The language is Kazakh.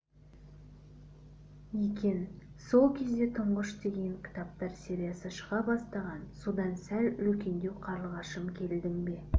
екен сол кезде тұңғыш деген кітаптар сериясы шыға бастаған содан сәл үлкендеу қарлығашым келдің бе